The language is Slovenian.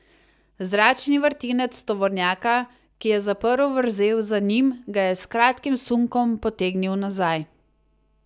Zračni vrtinec tovornjaka, ki je zaprl vrzel za njim, ga je s kratkim sunkom potegnil nazaj.